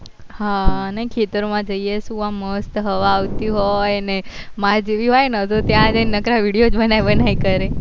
હા નઈ ખેતર માં જઈએ શું મસ્ત હવા આવતી હોય ને માર જેવી હોય ને તો ત્યાં જઈને નાકરા video જ બનાય બનાય કરે